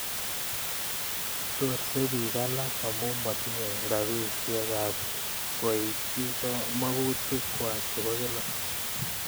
Chorsei piik alake amun matinyei ropisyet ap koitchi mautik kwak che po kila